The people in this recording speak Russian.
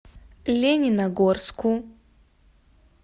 лениногорску